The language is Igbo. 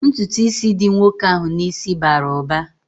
Ntụtụ ísì dị nwoke ahụ n'isi bara uba